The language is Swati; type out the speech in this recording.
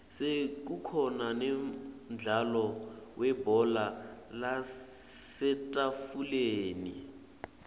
sekukhona nemdlalo webhola lasetafuleni